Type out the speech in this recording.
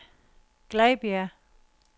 Glejbjerg